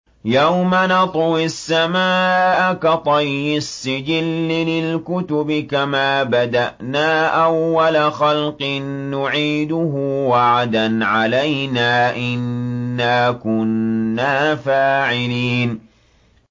يَوْمَ نَطْوِي السَّمَاءَ كَطَيِّ السِّجِلِّ لِلْكُتُبِ ۚ كَمَا بَدَأْنَا أَوَّلَ خَلْقٍ نُّعِيدُهُ ۚ وَعْدًا عَلَيْنَا ۚ إِنَّا كُنَّا فَاعِلِينَ